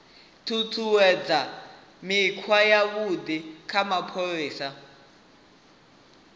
ṱuṱuwedza mikhwa yavhuḓi ya mapholisa